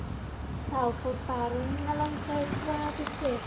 Þá fór baróninn að langa í svaðilför.